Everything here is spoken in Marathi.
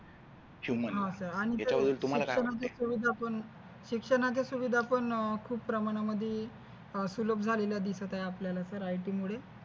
शिक्षणाचा सहज आपण खूप प्रमाणामध्ये खूप slop झालेला दिसत आहे सर आपल्याला IT मध्ये